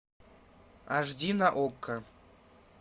аш ди на окко